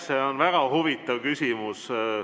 See on väga huvitav küsimus.